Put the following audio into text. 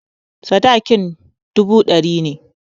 Sadakin dubu ɗari ne.